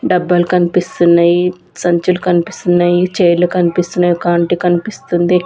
డబ్బల్ కనిపిస్తున్నాయి సంచులు కనిపిస్తున్నాయి చైర్లు కనిపిస్తున్నాయి ఒక ఆంటీ కనిపిస్తుంది.